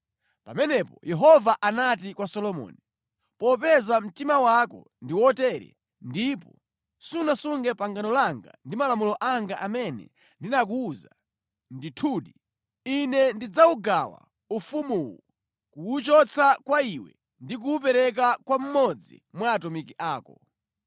Pamenepo Yehova anati kwa Solomoni, “Popeza mtima wako ndi wotere ndipo sunasunge pangano langa ndi malamulo anga amene ndinakuwuza, ndithudi, Ine ndidzawugawa ufumuwu kuwuchotsa kwa iwe ndi kuwupereka kwa mmodzi mwa atumiki ako.